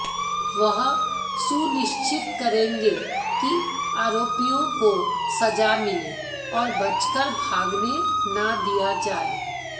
वह सुनिश्चित करेंगे कि आरोपियों को सजा मिले और बचकर भागने न दिया जाए